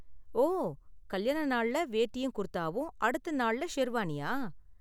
ஓ, கல்யாண நாள்ல வேட்டியும் குர்தாவும், அடுத்த நாள்ல ஷெர்வானியா?